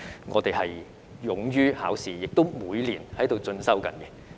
我們勇於考試，亦每年都在進修。